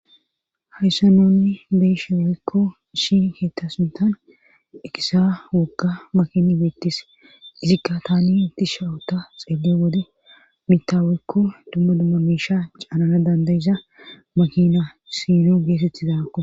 Hayssaa nuun be7isshe woykka issi keetta sinttan eqiza wogga makini beettees izikka taani dishwta xeelliyo wode mitta woykko dumma dumma miishe caanana dandda7iza makina siini ggetettizagakko.